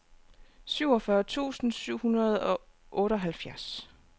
syvogfyrre tusind syv hundrede og otteoghalvfjerds